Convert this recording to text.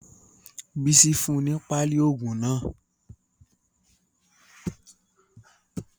Bísí fún un ní páálí ogun náà.